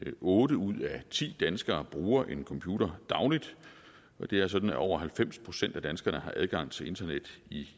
otte ud af ti danskere bruger en computer dagligt og det er sådan at over halvfems procent af danskerne har adgang til internet i